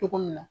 Cogo min na